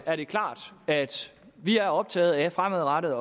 er det klart at vi er optaget af fremadrettet